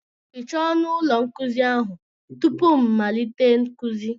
Hichaa ọnụ ụlọ nkuzi ahụ tupu m malite nkuzi!